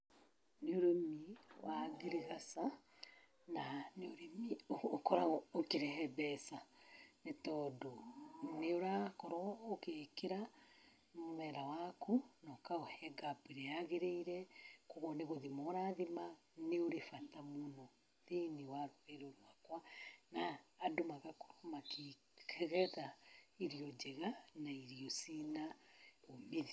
Nĩ ũrĩmi wa ngirigaca, na nĩ ũrĩmi ũkoragwo ũkĩrehe mbeca. Nĩ tondũ, nĩ ũrakorwo ũkĩĩkĩra mũmera waku na ũkaũhe gap ĩrĩa yagĩrĩire. Kwoguo nĩ gũthima ũrathima, nĩ ũrĩ bata mũno thĩiniĩ wa rũrĩrĩ rwakwa, na andũ magakorwo makĩgetha irio njega na irio ciĩna uumithio.